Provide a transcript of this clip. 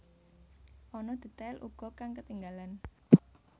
Ana detail uga kang ketinggalan